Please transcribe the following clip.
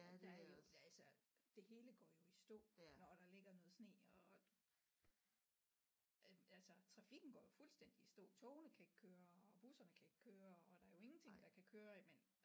Der er jo altså det hele går jo i stå når der ligger noget sne og øh altså trafikken går jo fuldstændig i stå togene kan ikke køre og busserne kan ikke køre og der er jo ingenting der kan køre men